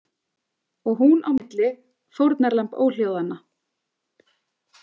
Og hún á milli, fórnarlamb óhljóðanna.